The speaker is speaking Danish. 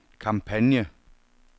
kampagne